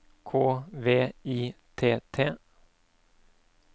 K V I T T